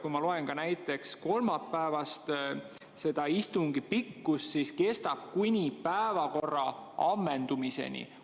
Kui ma loen näiteks kolmapäevase istungi pikkuse kohta, siis näen, et see kestab kuni päevakorra ammendumiseni.